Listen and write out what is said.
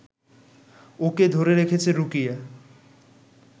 ওকে ধরে রেখেছে রুকিয়া